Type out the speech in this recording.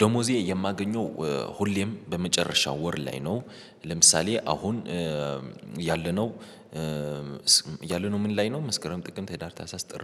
ደመወዜ የማገኘው ሁሌም በመጨረሻው ወር ላይ ነው። ለምሳሌ አሁን ያለነው ያለነው ምን ላይ ነው? መስክረም ጥቅምት ህዳር ታህሳስ ጥር